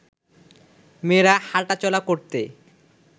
মেয়েরা হাঁটা চলা করতে